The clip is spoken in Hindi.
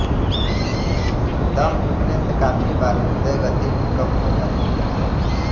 दम घुटने से काफी बार हृदय गति भी कम हो जाती है